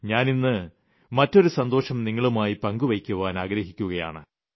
ഞാനിന്ന് മറ്റൊരു സന്തോഷം നിങ്ങളുമായി പങ്കുവയ്ക്കുവാൻ ആഗ്രഹിക്കുകയാണ്